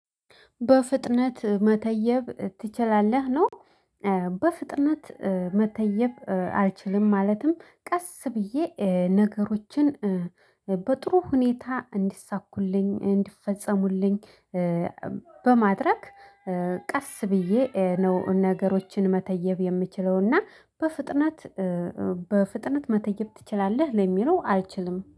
በፍጥነት መተየብ ትችላለህ ነው? በፍጥነት መተየብ አልችልም። ማለትም ቀስ ብዬ ነገሮችን በጥሩ ሁኔታ እንዲሳኩልኝ እንዲፈጸሙልኝ። በማድረግ ቀስ ብዬ ነው ነገሮችን መተየብ የምችለውና በፍጥነት። በፍጥነት መተየብ ትችላለህ ለሚለው አልችልም